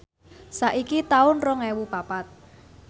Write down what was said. saiki taun rong ewu papat